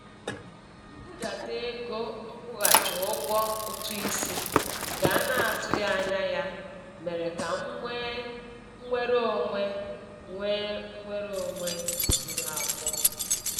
Mbudata ego nkwụghachi ụgwọ ụtụisi nke a na-atụghị anya ya mere ka m nwee nnwere onwe nwee nnwere onwe juru afọ.